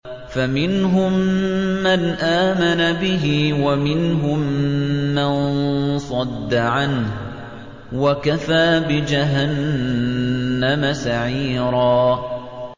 فَمِنْهُم مَّنْ آمَنَ بِهِ وَمِنْهُم مَّن صَدَّ عَنْهُ ۚ وَكَفَىٰ بِجَهَنَّمَ سَعِيرًا